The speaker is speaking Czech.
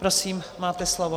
Prosím, máte slovo.